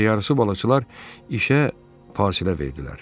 Gecə yarısı balıqçılar işə fasilə verdilər.